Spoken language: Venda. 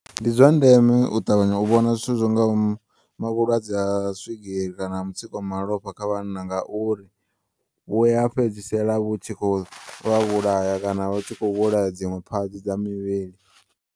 Ndi zwandeme u ṱavhanya u vhona zwithu zwingaho ma vhulwadze ha swigiri kana mutsiko ha malofha kha vhanna, ngauri vhuya fhedzisela vhu tshi kho u vha vhulaya kana vhu tshi kho u vhulaya dziṅwe phatsi dza muvhili.